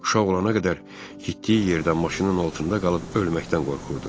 Uşaq olana qədər getdiyi yerdə maşının altında qalıb ölməkdən qorxurdu.